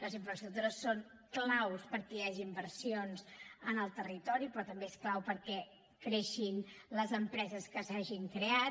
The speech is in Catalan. les infraestructures són clau perquè hi hagin inversions en el territori però també són clau perquè creixin les empreses que s’hagin creat